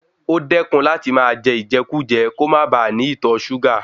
O dẹkun láti máa jẹ ijẹkujẹ, kò máa ba ní ìtọ súgà.